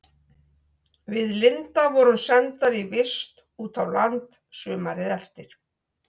Við Linda vorum sendar í vist út á land sumarið eftir.